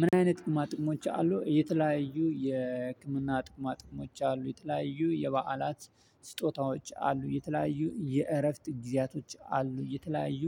ምን? አይነት ጥቅማ ጥቅሞች አሉ የተለያዩ የህክምና ጥቅማ ጥቅሞች አሉ የተለያዩ የበዓላት ስጦታዎች አሉ የተለያዩ የእረፍት ጊዜያቶች አሉ የተለያዩ